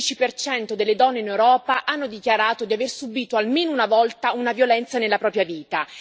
Il 13 delle donne in Europa hanno dichiarato di aver subito, almeno una volta, una violenza nella propria vita.